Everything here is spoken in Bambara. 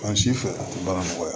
An si fɛ a tɛ baara nɔgɔya